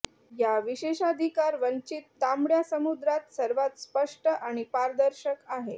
या विशेषाधिकार वंचित तांबड्या समुद्रात सर्वात स्पष्ट आणि पारदर्शक आहे